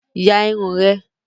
Ya irun rẹ.